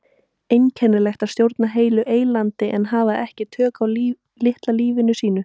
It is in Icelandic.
Einkennilegt að stjórna heilu eylandi en hafa ekki tök á litla lífinu sínu.